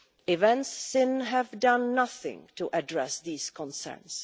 Events since have done nothing to address these concerns.